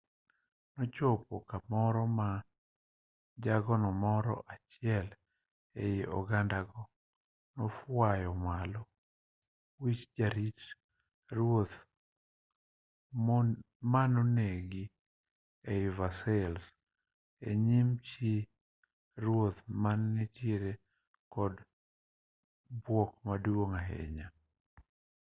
nochopo kamoro ma jago moro achiel ei ogandago nofwayo malo wich jarit ruoth manonegi ei versailles e nyim chi ruoth mane nitiere kod bwok maduong' ahinya